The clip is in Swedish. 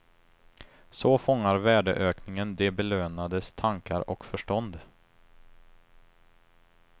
Så fångar värdeökningen de belönades tankar och förstånd.